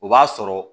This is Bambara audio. O b'a sɔrɔ